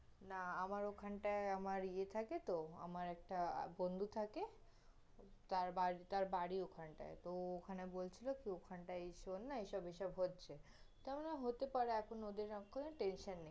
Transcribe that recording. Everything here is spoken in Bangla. না আমার ওখান টায়, আমার ইয়ে থাকে তহ, আমার একটা বন্ধু থাকে, তার বা~ তার বাড়ি ওখান টায়, তহ ওখানে বলছিল, ওখানে শুন না এসব এসব হচ্ছে, তার মানে হতে পারে, এখন ওদের আর কোন tension নেই